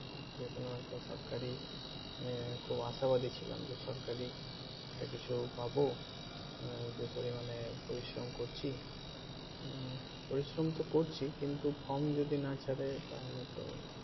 যে কোনো একটা সরকারি আহ খুব আশা বাদী ছিলাম যে সরকারি একটা কিছু পাবো আহ যে পরিমানে পরিশ্রম করছি আহ পরিশ্রম তো করছি কিন্তু form যদি না ছারে তাহলে তো